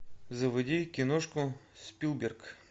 заводи киношку спилберг